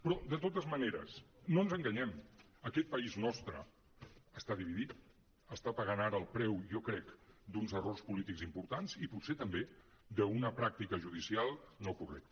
però de totes maneres no ens enganyem aquest país nostre està dividit està pagant ara el preu jo crec d’uns errors polítics importants i potser també d’una pràctica judicial no correcta